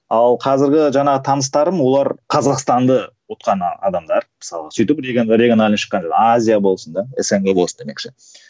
ал қазіргі жаңағы таныстарым олар қазақстанды ұтқан адамдар мысалға сөйтіп региональный шыққан азия болсын да снг болсын демекші